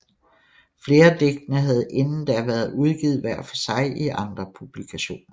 Flere af digtene havde inden da været udgivet hver for sig i andre publikationer